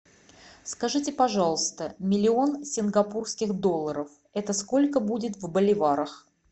скажите пожалуйста миллион сингапурских долларов это сколько будет в боливарах